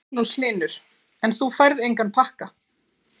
Magnús Hlynur: En þú færð enga pakka?